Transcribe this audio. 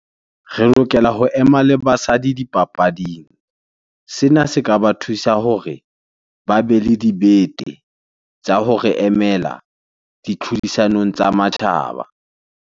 Re lokela ho ema le basadi dipapading. Sena se ka ba thusa hore ba be le dibete tsa ho re emela ditlhodisanong tsa matjhaba.